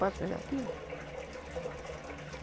Posso pegar aquilo?